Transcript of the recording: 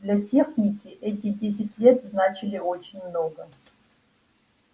для техники эти десять лет значили очень много